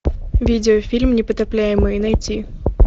видеофильм непотопляемые найти